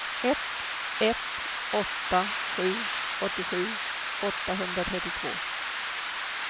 ett ett åtta sju åttiosju åttahundratrettiotvå